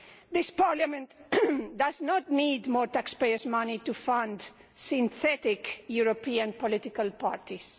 This Parliament does not need more taxpayers' money to fund synthetic European political parties.